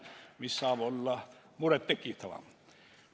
Mis saab veel rohkem muret tekitada?